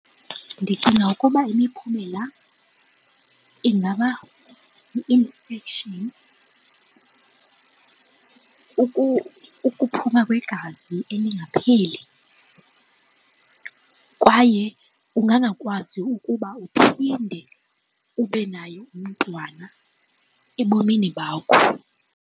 Ndicinga ukuba imiphumela ingaba yi-infection, ukuphuma kwegazi elingapheli kwaye ungangakwazi ukuba uphinde ube nayo umntwana ebomini bakho.